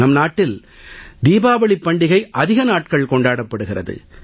நம் நாட்டில் தீபாவளிப் பண்டிகை அதிக நாட்கள் கொண்டாடப்படுகிறது